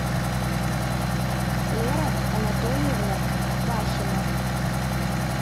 лера анатольевна вахина